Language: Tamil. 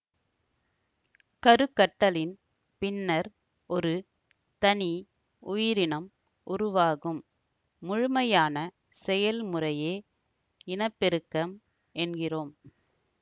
கருக்கட்டலின் பின்னர் ஒரு தனி உயிரினம் உருவாகும் முழுமையான செயல்முறையே இனப்பெருக்கம் என்கின்றோம்